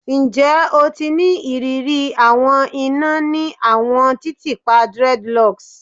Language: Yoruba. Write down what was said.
Njẹ o ti ni iriri awọn ina ni awọn titiipa dreadlocks?